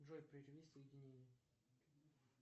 джой прерви соединение